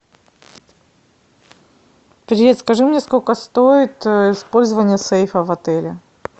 привет скажи мне сколько стоит использование сейфа в отеле